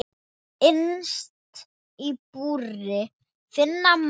Innst í búri finna má.